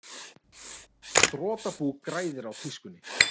Þrotabú græðir á tískunni